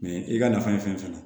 Mɛ i ka nafa ye fɛn fɛn ye